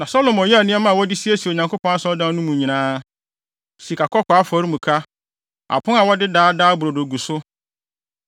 Na Salomo yɛɛ nneɛma a wɔde siesie Onyankopɔn Asɔredan no mu nyinaa: sikakɔkɔɔ afɔremuka; apon a wɔde Daa Daa Brodo gu so;